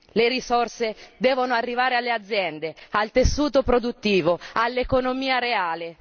Le risorse devono arrivare alle aziende, al tessuto produttivo, all'economia reale.